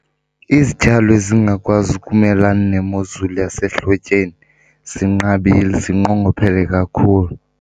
Izityalo ezingakwazi ukumelana nemozulu yasehlotyeni zinqabile, zinqongophele kakhulu.